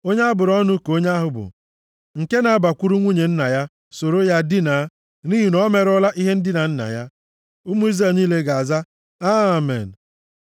“Onye a bụrụ ọnụ ka onye ahụ bụ nke na-abakwuru nwunye nna ya soro ya dinaa, nʼihi na o merụọla ihe ndina nna ya.” Ụmụ Izrel niile ga-aza, “Amen.”